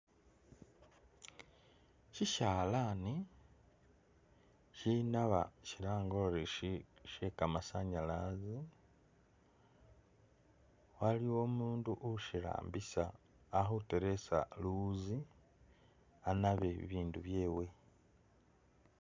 Shishalani shinaba shilange ori she'kamasanyalaze waliwo umundu ushirambisa ali khutereza luwuzi anabe bibindu byewe